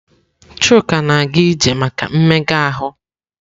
Chuka na-aga ije maka mmega ahụ.